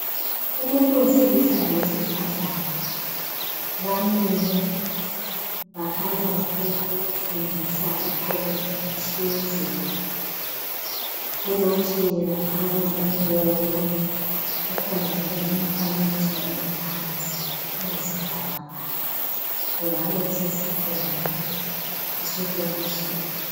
Umuntu wesilisa lowesifazana bamile bakhanya bafuna ukufundisa ixuku elithize. Kulotshiwe laphana umbono, kukhona njalo imifanekiso engaphansi eyisibhakabhaka. Kungabe kusesikolo kumbe kusekolitshini.